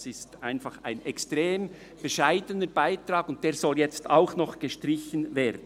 Das ist einfach ein extrem bescheidener Beitrag, und dieser soll jetzt auch noch gestrichen werden.